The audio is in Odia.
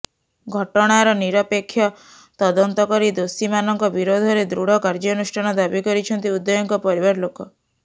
ଘଟଣାର ନିରପେକ୍ଷ ତଦନ୍ତ କରି ଦୋଷୀମାନଙ୍କ ବିରୋଧରେ ଦୃଢ କାର୍ଯ୍ୟାନୁଷ୍ଠାନ ଦାବି କରିଛନ୍ତି ଉଦୟଙ୍କ ପରିବାରଲୋକ